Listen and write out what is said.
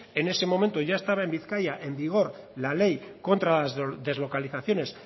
en ese momento ya estaba en bizkaia en vigor la ley contra las deslocalizaciones